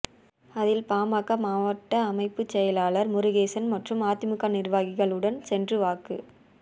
அதில் பாமக மாவட்ட அமைப்புச் செயலாளா் முருகேசன் மற்றும் அதிமுக நிா்வாகிகள் உடன் சென்று வாக்கு